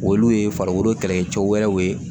Olu ye farikolo kɛlɛkɛcɛw wɛrɛw ye